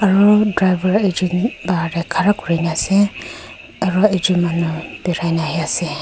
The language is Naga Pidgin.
aru driver ekjont bahar te khara kori kina ase aru ekjont manu berai na ahe ase.